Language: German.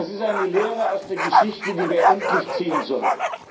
Das ist eine Lehre aus der Geschichte, die wir endlich ziehen sollten.